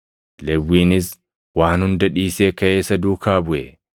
Lewwiinis waan hunda dhiisee kaʼee isa duukaa buʼe.